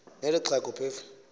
neli xhego phofu